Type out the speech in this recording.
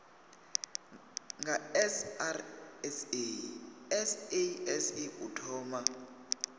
nga srsa sasc u thoma